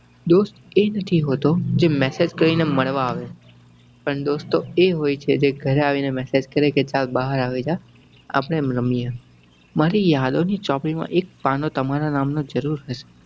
દોસ્ત એ નથી હોતો જે message કરી ને મળવા આવે પણ દોસ્ત તો એ હોય છે જે ઘરે આવીને message કરે કે ચલ બહાર આવી જા અપડે રમીએ. મારી યાદો ની ચોપડી માં એક પાનો તમારાં નામ નો જરુર રેહશે.